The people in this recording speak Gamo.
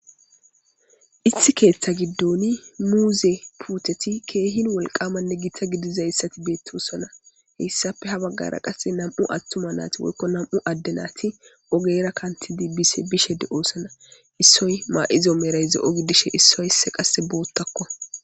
Ithi keeththa giddoni muuze puteti keehin wolqamanne gitta gidizayssati beettoosana heyssafe ha baggara qasse nam'u attuma naati woykko nam'u adde naati ogera kantidi bise bishede oossana issoy maa'izo merayze ogidishe issoysse qasse boottakko.